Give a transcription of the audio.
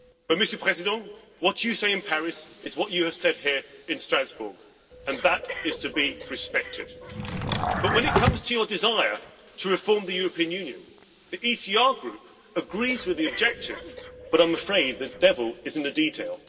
Monsieur le Président, what you say in Paris is what you have said here in Strasbourg, and that is to be respected, but when it comes to your desire to reform the European Union, the ECR Group agrees with the objective but I am afraid the devil is in the detail.